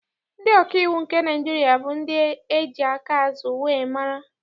Ndị ọkaiwu nke Naịjirịa bụ ndị eji aka azụ wee mara.